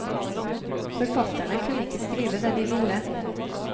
Forfatterne kunne ikke skrive det de ville.